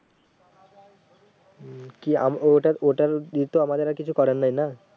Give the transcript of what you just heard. হম কি আম ওটা ওটা র তো আমাদের আর কিছু করার নেই না